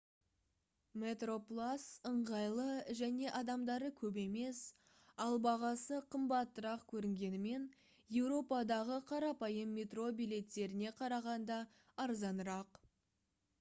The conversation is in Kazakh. metroplus ыңғайлы және адамдары көп емес ал бағасы қымбатырақ көрінгенімен еуропадағы қарапайым метро билеттеріне қарағанда арзанырақ